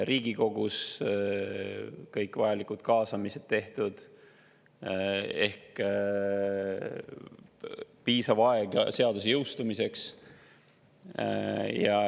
Riigikogus olid kõik vajalikud kaasamised tehtud ja antud piisav aeg seaduse jõustumiseks.